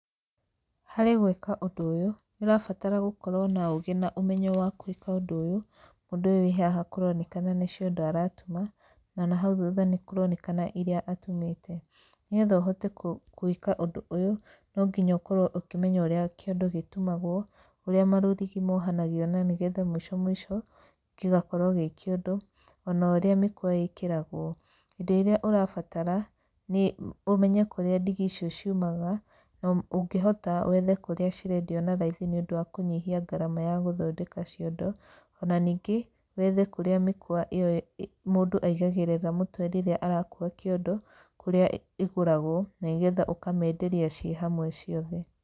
Harĩ gwĩka ũndũ ũyũ, nĩ ũrabatara gũkorwo na ũũgĩ na ũmenyo wa gwĩka ũndũ ũyũ, mũndũ ũyũ wĩ haha kũronekana nĩ ciondo aratuma, na nahau thutha nĩ kũronekana irĩa atumĩte. Nĩ getha ũhote gwĩka ũndũ ũyũ, no nginya ũkorwo ũkĩmenya ũrĩa kĩondo gĩtumagwo, ũrĩa marũrigi mohanagio na nĩ getha mũico mũico gĩgakorwo gĩ kĩondo, ona ũrĩa mĩkwa ĩkĩragwo. Indo irĩa ũrabatara nĩ ũmenye kũrĩa ndigi icio ciumaga, na ũngĩhota wethe kũrĩa cirendio na raithi nĩ ũndũ wa kũnyihia ngarama ya gũthondeka ciondo. Ona ningĩ wethe kũrĩa mĩkwa ĩyo mũndũ aigagĩrĩra mũtwe rĩrĩa arakuua kĩondo kũrĩa igũragwo na nĩ getha ũkamenderia ci hamwe ciothe.